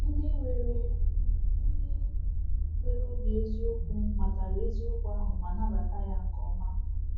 Ndị nwere Ndị nwere obi eziokwu matara eziokwu ahụ ma nabata ya nke ọma.